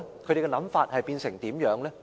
他們的想法變成怎樣呢？